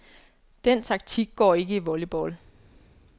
Den taktik går ikke i volleyball.